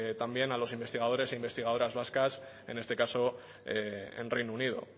también a los investigadores e investigadoras vascas en este caso en reino unido